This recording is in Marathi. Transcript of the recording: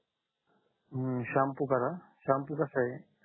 हम्म शाम्पू करा शाम्पू कसा आहे